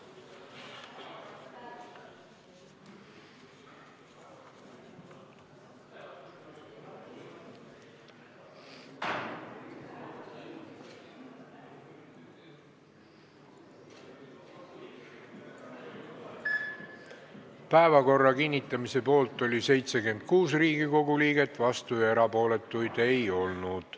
Hääletustulemused Päevakorra kinnitamise poolt oli 76 Riigikogu liiget, vastuolijaid ega erapooletuid ei olnud.